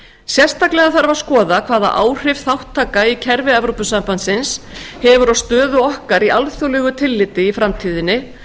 sérstaklega þarf að skoða hvaða áhrif þátttaka í kerfi e s b hefur á stöðu okkar í alþjóðlegu tilliti í framtíðinni